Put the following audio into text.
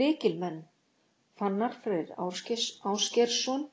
Lykilmenn: Fannar Freyr Ásgeirsson,